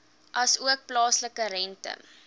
asook plaaslike rente